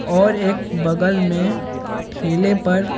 और एक बगल में ठेले पर।